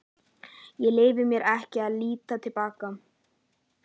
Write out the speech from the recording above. Ég leyfi mér ekki að líta til baka.